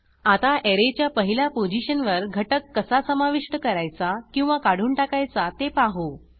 आता ऍरेच्या पहिल्या पोझिशनवर घटक कसा समाविष्ट करायचा किंवा काढून टाकायचा ते पाहू